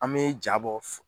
An me ja bɔ